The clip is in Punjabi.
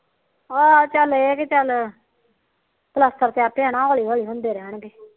ਹਾ ਚੱਲ ਇਹ ਕਿ ਚੱਲ ਪਲਾਸਤਰ ਤੇ ਆਪੇ ਹਨਾ ਹੋਲੀ ਹੋਲੀ ਹੁੰਦੇ ਰਹਿਣਗੇ